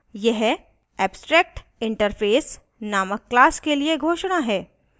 यह abstractinterface named class के लिए घोषणा है